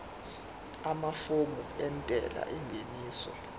amafomu entela yengeniso